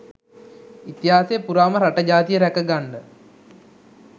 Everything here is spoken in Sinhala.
ඉතිහාසය පුරාම රට ජාතිය රැක ගන්ඩ